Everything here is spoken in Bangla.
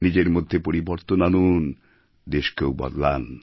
নিজের মধ্যে পরিবর্তন আনুন দেশকেও বদলান